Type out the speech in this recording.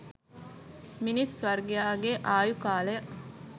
මිිනිස් වර්ගයාගේ ආයු කාලය